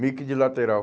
Meio que de lateral.